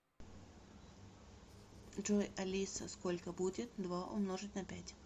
джой алиса сколько будет два умножить на пять